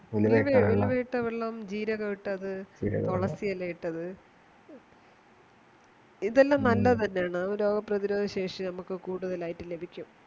ഉലുവായിട്ടവെള്ളം ജീരകട്ടത് തുളസിയിട്ടത് ഇതെല്ലാം നല്ലത് തന്നെയാണ് രോഗപ്രതിരോധശേഷി നമുക്ക് കൂടുതലായിട്ട് ലഭിക്കും